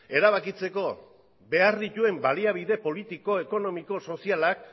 erabakitzeko behar dituen baliabide politikoa ekonomiko eta sozialak